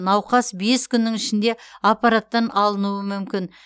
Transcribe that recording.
науқас бес күннің ішінде аппараттан алынуы мүмкін